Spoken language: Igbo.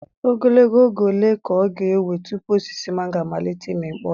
Ogologo oge ole ka ọ ga-ewe tupu osisi mango amalite ịmị mkpụrụ?